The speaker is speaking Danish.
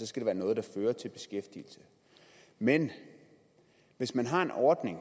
skal være noget der fører til beskæftigelse men hvis man har en ordning